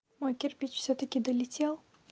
мой кирпич всё-таки долетел